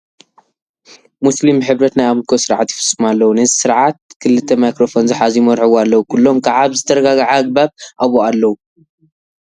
ሞስሊም ብሕብረት ናይ ኣምልኮ ስርዓት ይፍፅሙ ኣለዉ፡፡ ነዚ ስርዓት ክልተ ማይክሮፎን ዝሓዙ ይመርሕዎ ኣለዉ፡፡ ኩሎም ከዓ ብዝተረጋግዐ ኣግባብ ኣብኡ ኣለዉ፡፡